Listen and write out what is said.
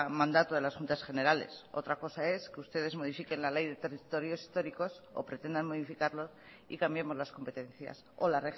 mandato de las juntas generales otra cosa es que ustedes modifiquen la ley de territorios históricos o pretendan modificarlo y cambiemos las competencias o la